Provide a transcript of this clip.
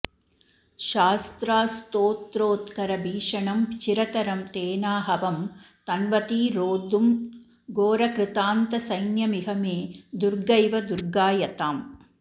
शस्त्रास्त्रोत्करभीषणं चिरतरं तेनाहवं तन्वती रोद्धुं घोरकृतान्तसैन्यमिह मे दुर्गैव दुर्गायताम्